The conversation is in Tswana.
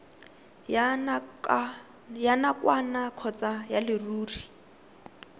ya nakwana kgotsa ya leruri